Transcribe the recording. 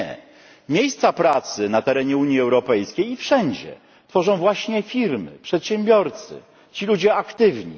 Nie, miejsca pracy na terenie Unii Europejskiej i wszędzie tworzą właśnie firmy, przedsiębiorcy, ci ludzie aktywni.